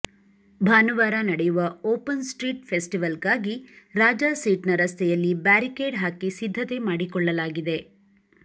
ಭಾನುವಾರ ನಡೆಯುವ open street ಫೆಸ್ಟಿವಲ್ಗಾಗಿ ರಾಜಾಸೀಟ್ನ ರಸ್ತೆಯಲ್ಲಿ ಬ್ಯಾರಿಕೇಡ್ ಹಾಕಿ ಸಿದ್ಧತೆ ಮಾಡಿಕೊಳ್ಳಲಾಗಿದೆ